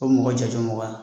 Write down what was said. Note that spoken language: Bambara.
O mɔgɔ mɔgɔ wa